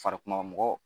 Farikuma mɔgɔ